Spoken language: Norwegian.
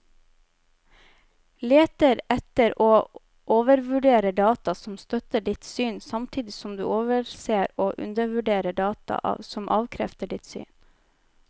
Leter etter og overvurderer data som støtter ditt syn, samtidig som du overser og undervurderer data som avkrefter ditt syn.